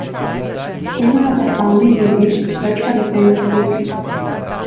Snemajo ga slavni ljudje, več pa ne smem razkriti.